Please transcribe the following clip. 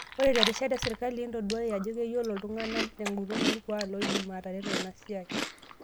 Ore terishata esirkali, entoduai aje keyiolo ntung'anak tenguton orkuak loidim ataretu enasiai.